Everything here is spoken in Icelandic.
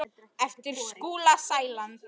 eftir Skúla Sæland